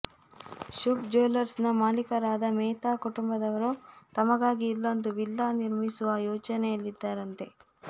ಶುಭ್ ಜ್ಯುವೆಲ್ಲರ್ಸ್ನ ಮಾಲೀಕರಾದ ಮೆಹ್ತಾ ಕುಟುಂಬದವರು ತಮಗಾಗಿ ಇಲ್ಲೊಂದು ವಿಲ್ಲಾ ನಿರ್ಮಿಸುವ ಯೋಚನೆಯಲ್ಲಿದ್ದಾರಂತೆ